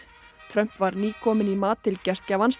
Trump var nýkominn í mat til gestgjafans